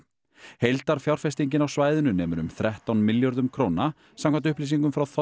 heildarfjárfestingin á svæðinu nemur um þrettán milljörðum króna samkvæmt upplýsingum frá